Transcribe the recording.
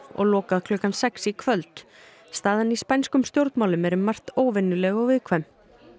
og lokað klukkan sex í kvöld staðan í spænskum stjórnmálum er um margt óvenjuleg og viðkvæm